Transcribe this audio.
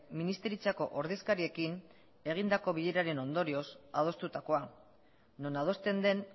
ministeritzako ordezkariekin egindako bileraren ondorioz adostutakoa non adosten den